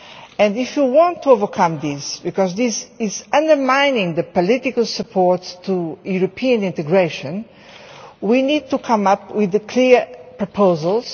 And if you want to overcome this because this is undermining the political support for European integration we need to come up with clear proposals.